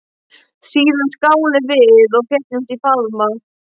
Síðan skáluðum við og féllumst í faðma.